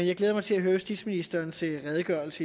jeg glæder mig til at høre justitsministerens redegørelse